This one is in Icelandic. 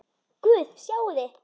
Guð, sjáiði!